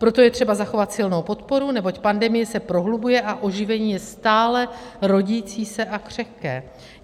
Proto je třeba zachovat silnou podporu, neboť pandemie se prohlubuje a oživení je stále rodící se a křehké.